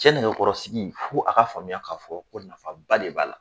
Cɛ nɛgɛkɔrɔsigi fo a ka faamuya k'a fɔ ko nafaba de b'a la